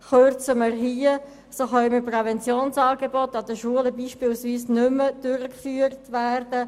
Kürzen wir hier, können Präventionsangebote beispielsweise an den Schulen nicht mehr durchgeführt werden.